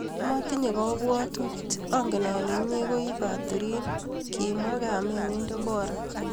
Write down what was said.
motinye kabwatut, angen ale inye ko ii katurin kimwoi kamenyi Deborah